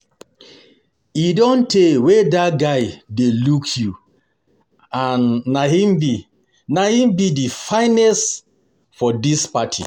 E don tey wey dat guy dey look you and na him be the finest for dis party